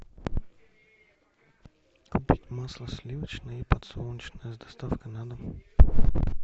купить масло сливочное и подсолнечное с доставкой на дом